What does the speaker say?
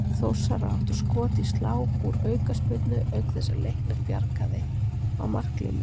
Þórsarar áttu skot í slá úr aukaspyrnu auk þess að Leiknir bjargaði á marklínu.